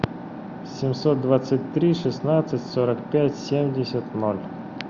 семьсот двадцать три шестнадцать сорок пять семьдесят ноль